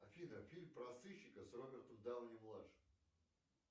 афина фильм про сыщика с робертом дауни младшим